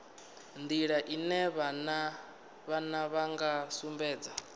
nḓila ine vhana vha sumbedza